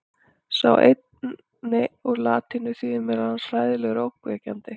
sá seinni er úr latínu og þýðir meðal annars „hræðilegur“ og „ógnvekjandi“